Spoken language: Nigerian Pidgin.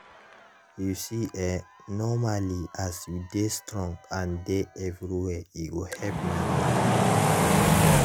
ah i dey take drugs to help me stay galant.